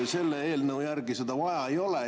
Selle eelnõu järgi seda vaja ei ole.